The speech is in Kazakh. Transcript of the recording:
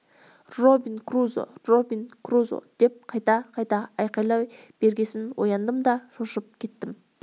робин крузо робин крузо деп қайта-қайта айқайлай бергесін ояндым да шошып кеттім